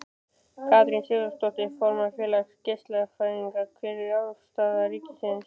Katrín Sigurðardóttir, formaður Félags geislafræðinga: Hver er afstaða ríkisins?